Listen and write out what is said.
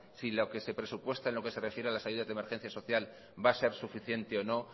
si lo que se presupuesta en lo que se refiere a las ayudas de emergencia social va a ser suficiente o no